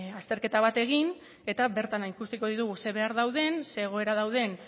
azterketa bat egin eta bertan ikusiko ditugu zein behar dauden zein egoera dauden